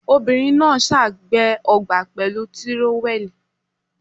Ọmọbìnrin ná$à gbẹ́ ọgbà pẹ̀lú tírówẹ́ẹ̀lì.